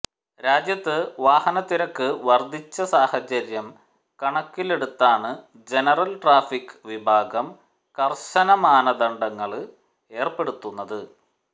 രാജ്യത്ത് വാഹനത്തിരക്ക് വര്ധിച്ച സാഹചര്യം കണക്കിലെടുത്താണ് ജനറല് ട്രാഫിക് വിഭാഗം കര്ശനമാനദണ്ഡങ്ങള് ഏര്പ്പെടുത്തുന്നത്